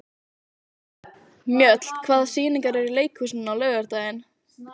Mjöll, hvaða sýningar eru í leikhúsinu á laugardaginn?